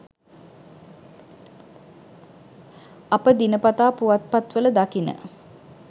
අප දිනපතා පුවත්පත්වල දකින